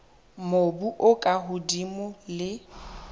mobu o ka hodimo le